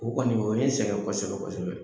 O kɔni o ye n sɛgɛn kɔsɛbɛ kosɛbɛ